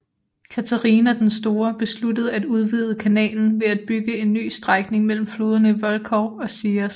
Katharina den Store besluttede at udvide kanalen ved at bygge en ny strækning mellem floderne Volkhov og Sias